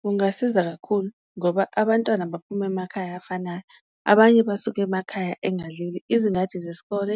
Kungasiza kakhulu ngoba abantwana abaphumi emakhaya afanayo abanye basuke emakhaya engadlile, izingadi zesikole